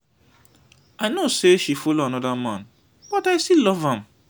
i no say she follow another man but i still love am.